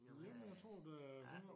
Jamen jeg tror da her når